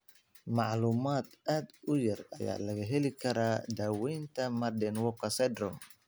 Macluumaad aad u yar ayaa laga heli karaa daawaynta Marden Walker syndrome.